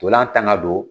Ntolan tan ka don